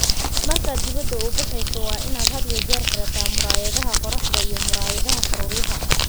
Markaad dibadda u baxayso, waa inaad had iyo jeer xidhataa muraayadaha qorraxda iyo muraayadaha faruuryaha.